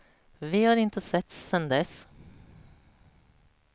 Vi har inte setts sedan dess.